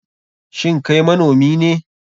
Shin Kai manomi ne?